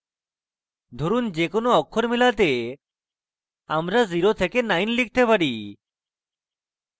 ধরুন যে কোনো অক্ষর মেলাতে আমরা 09 লিখতে পারি